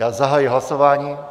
Já zahajuji hlasování.